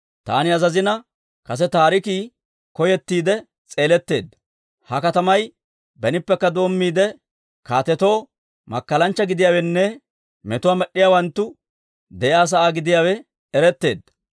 Taani azazina, kase taarikii koyettiide s'eeletteedda; ha katamay benippekka doommiide, kaatetoo makkalanchcha gidiyaawenne metuwaa med'd'iyaawanttu de'iyaa sa'aa gidiyaawe eretteedda.